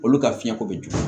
Olu ka fiɲɛko bɛ jun